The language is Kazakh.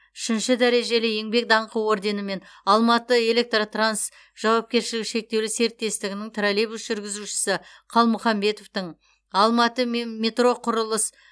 үшінші дәрежелі еңбек даңқы орденімен алматы электротранс жауапкершілігі шектеулі серіктестігінің троллейбус жүргізушісі қалмұхамбетовтің алматы метроқұрылыс